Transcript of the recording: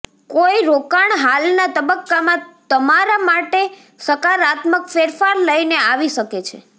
કોઈ રોકાણ હાલના તબક્કામાં તમારા માટે સકારાત્મક ફેરફાર લઈને આવી શકે છે